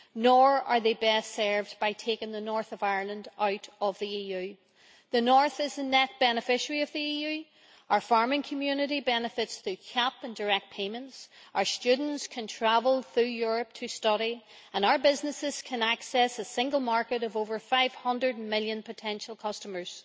Nor are they best served by taking the North of Ireland out of the EU. The North is a net beneficiary of the EU, our farming community benefits through CAP and direct payments, our students can travel through Europe to study, and our businesses can access a single market of over 500 million potential customers.